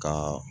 Ka